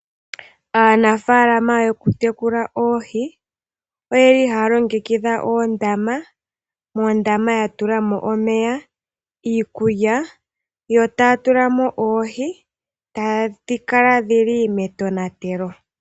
Aanafaalama yokutekula oohi ohaya longekidha oondama. Moondama ya tula mo omeya, iikulya yo taya tula mo oohi e tadhi kala dhi li metonatelo.